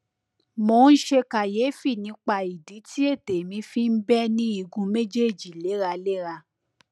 mo ń ṣe kàyéfì nípa ìdí tí ètè mi fi ń bẹ ní igun méjèèjì léraléra